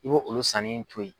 I bo olu sanni to ye.